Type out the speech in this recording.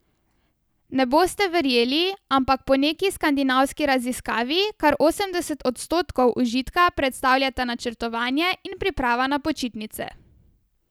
Ne boste verjeli, ampak po neki skandinavski raziskavi kar osemdeset odstotkov užitka predstavljata načrtovanje in priprava na počitnice.